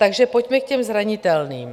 Takže pojďme k těm zranitelným.